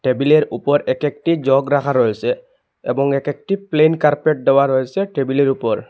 টেবিলের ওপর এক একটি জগ রাখা রয়েসে এবং এক একটি প্লেন কার্পেট দেওয়া রয়েসে টেবিলের উপর।